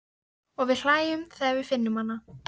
Og við hlæjum þegar við finnum hana.